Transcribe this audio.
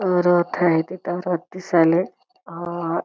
रथ आहे तिथे रथ दिसलय अ--